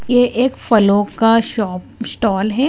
यह एक फलों का शॉप स्टॉल है।